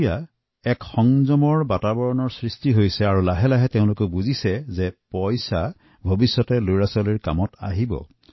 এতিয়া সংযম কৰিবলৈ শিকি তেওঁলোকে ভাবিছে যে জমা ধনে ভৱিষ্যতে তেওঁলোকৰ সন্তানৰ কামত আহিব